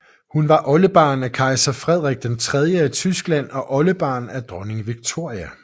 Hun var oldebarn af kejser Frederik III af Tyskland og oldebarn af dronning Victoria